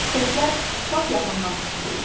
Səslər lap yaxından eşidildi.